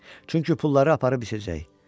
Çünki pulları aparıb içəcək.